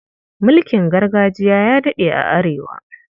Mulkin gargajiya ya daɗe a Arewa.